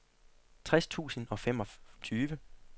tres tusind og femogtyve